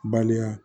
Baliya